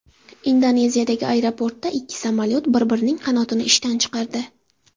Indoneziyadagi aeroportda ikki samolyot bir-birining qanotini ishdan chiqardi.